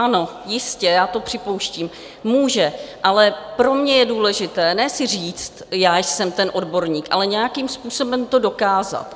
Ano, jistě, já to připouštím, může, ale pro mě je důležité ne si říct: Já jsem ten odborník, ale nějakým způsobem to dokázat.